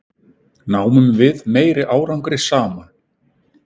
Náum við meiri árangri saman?